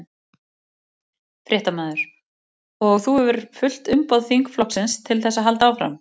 Fréttamaður: Og þú hefur fullt umboð þingflokksins til þess að halda áfram?